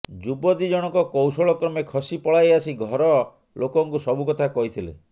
ଯୁବତୀ ଜଣକ କୌଶଳ କ୍ରମେ ଖସି ପଳାଇ ଆସି ଘର ଲୋକଙ୍କୁ ସବୁ କଥା କହିଥିଲେ